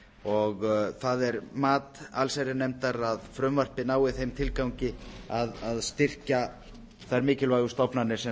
og það er mat allsherjarnefndar að frumvarpið nái þeim tilgangi að styrkja þær mikilvægu stofnanir sem